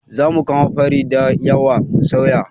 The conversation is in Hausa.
Zamu kamo fari dayawa mu soya